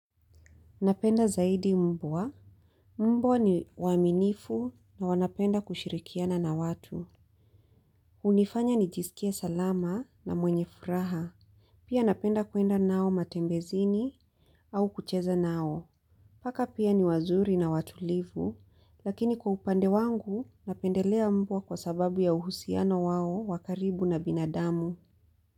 Napenda zaidi mvua. Mbua ni waminifu na wanapenda kushirikiana na watu. Hunifanya nijisikie salama na mwenye furaha. Pia napenda kuenda nao matembezini au kucheza nao. Paka pia ni wazuri na watulivu, lakini kwa upande wangu napendelea mbwa kwa sababu ya uhusiano wao wa karibu na binadamu.